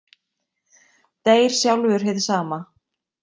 Deyr sjálfur hið sama.